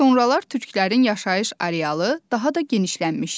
Sonralar türklərin yaşayış arealı daha da genişlənmişdi.